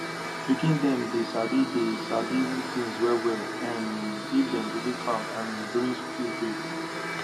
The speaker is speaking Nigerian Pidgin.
pikin dem dey sabi dey sabi things wellwell um if dem visit farm um during school break